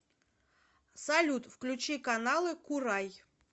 салют включи каналы курай